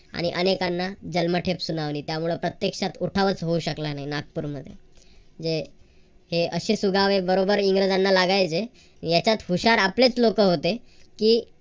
आणि अनेकांना जन्मठेप सुनावली. त्यामुळं प्रत्येक्षात उठावाचा होऊ शकला नाही नागपूरमध्ये. जे हे असे सुगावे इंग्रजांना लागायचे यांच्यात हुशार आपलेच लोक होते. की